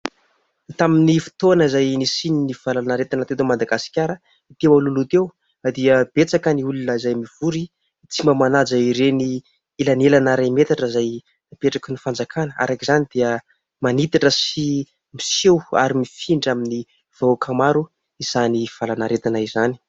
Tamin'ny fotoana izay nisian'ny valan'aretina teto Madagasikara teo alohaloha teo, dia betsaka ny olona izay mivory tsy mba manaja ireny elanelana iray metatra izay napetraky ny fanjakàna. Araka izany dia manitatra sy miseho ary mifindra amin'ny vahoaka maro izany aretina izany.